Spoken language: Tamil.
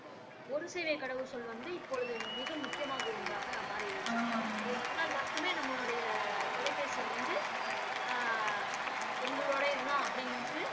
ஒரு சேவை கடவு சொல் வந்து இப்பொழுது மிக முக்கியமாக ஒன்றாக மாறி இருக்கிறது அது வந்தால் மட்டுமே நம்மோடைய தொலைபேசி எண் வந்து ஆஹ் உங்களோடையது தான் அப்படிண்டு